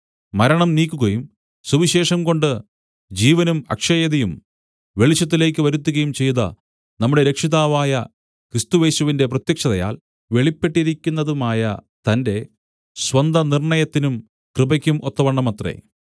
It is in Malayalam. മരണം നീക്കുകയും സുവിശേഷം കൊണ്ട് ജീവനും അക്ഷയതയും വെളിച്ചത്തിലേക്ക് വരുത്തുകയും ചെയ്ത നമ്മുടെ രക്ഷിതാവായ ക്രിസ്തുയേശുവിന്റെ പ്രത്യക്ഷതയാൽ വെളിപ്പെട്ടിരിക്കുന്നതുമായ തന്റെ സ്വന്ത നിർണ്ണയത്തിനും കൃപയ്ക്കും ഒത്തവണ്ണമത്രേ